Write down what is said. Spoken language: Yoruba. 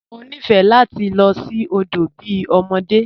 Mọ nifẹ́ lati lọ sí odo bí ọmọdé.